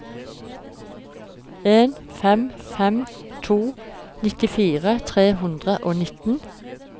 en fem fem to nittifire tre hundre og nitten